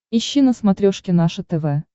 ищи на смотрешке наше тв